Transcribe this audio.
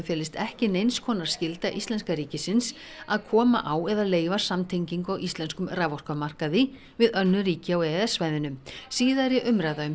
felist ekki neins konar skylda íslenska ríkisins að koma á eða leyfa samtengingu á íslenskum raforkumarkaði við önnur ríki á e e s svæðinu síðari umræða um